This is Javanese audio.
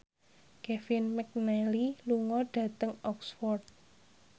Kevin McNally lunga dhateng Oxford